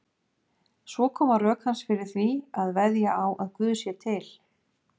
Svo koma rök hans fyrir því að veðja á að Guð sé til.